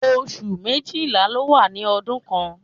Oṣù méjìlá ló wà lọ́dún kan